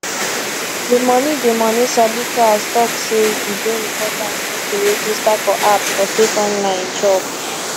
di money di money sabi class talk say e dey important make you register for app for safe online chop